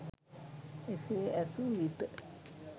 එසේ ඇසු විට